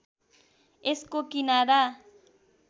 यसको किनारा